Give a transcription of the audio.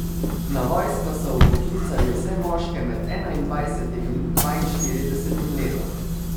Na vojsko so vpoklicali vse moške med enaindvajsetim in dvainštiridesetim letom.